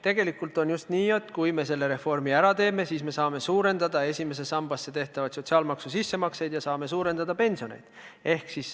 Tegelikult on just nii, et kui me selle reformi ära teeme, siis me saame suurendada esimesse sambasse tehtavaid sotsiaalmaksu sissemakseid ja saame suurendada pensioneid.